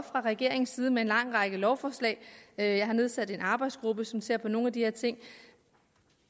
fra regeringens side med en lang række lovforslag jeg har nedsat en arbejdsgruppe som ser på nogle af de her ting